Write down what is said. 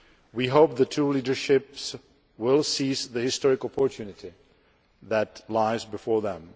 We hope that the two leaderships will seize the historic opportunity that lies before them.